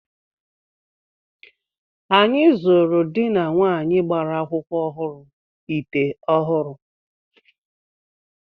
Anyị zụụrụ dị na nwaanyi gbara akwụkwọ ọhụrụ ite ọhụrụ.